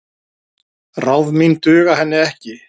Ráð mín duga henni ekki.